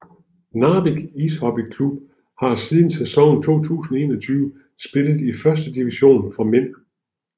Narvik Ishockeyklubb har siden sæsonen 2021 spillet i førstedivision for mænd